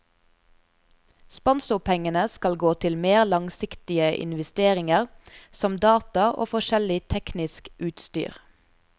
Sponsorpengene skal gå til mer langsiktige investeringer som data og forskjellig teknisk utstyr.